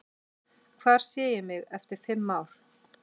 Hvar sé ég mig eftir fimm ár?